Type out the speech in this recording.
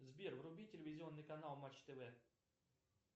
сбер вруби телевизионный канал матч тв